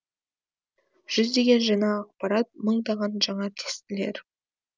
жүздеген жаңа ақпарат мыңдаған жаңа тестілер